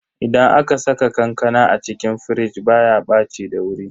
Idan aka saka kankana a cikin firij baya ɓaci da wuri.